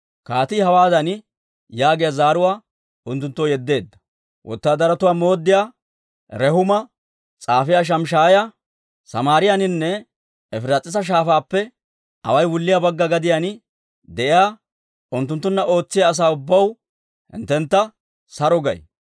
Kaatii hawaadan yaagiyaa zaaruwaa unttunttoo yeddeedda; «Wotaadaratuwaa mooddiyaa Rehuumaa, s'aafiyaa Shimshshaayaa, Samaariyaaninne Efiraas'iisa Shaafaappe away wulliyaa Bagga gadiyaan de'iyaa unttunttunna ootsiyaa asaa ubbaw, hinttentta saro gay.